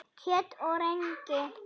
Kjöt og rengi